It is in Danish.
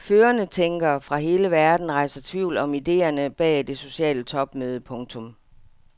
Førende tænkere fra hele verden rejser tvivl om idéerne bag det sociale topmøde. punktum